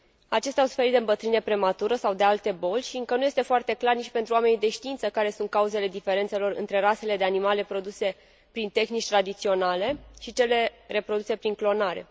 Acestea au suferit de îmbătrânire prematură sau de alte boli și încă nu este foarte clar nici pentru oamenii de știință care sunt cauzele diferențelor dintre rasele de animale produse prin tehnici tradiționale și cele reproduse prin clonare.